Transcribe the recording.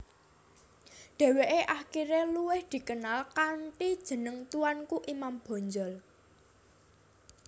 Deweke akhire luwih dikenal kanthi jeneng Tuanku Imam Bonjol